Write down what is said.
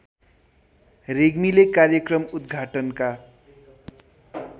रेग्मीले कार्यक्रम उद्घाटनका